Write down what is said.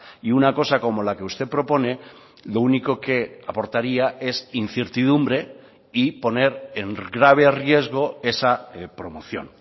y una cosa como la que usted propone lo único que aportaría es incertidumbre y poner en grave riesgo esa promoción